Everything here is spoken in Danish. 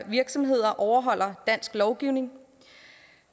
virksomheder overholder dansk lovgivning